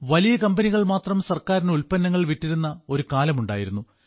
വലിയ കമ്പനികൾ മാത്രം ഗവൺമെന്റിന് ഉൽപ്പന്നങ്ങൾ വിറ്റിരുന്ന ഒരു കാലമുണ്ടായിരുന്നു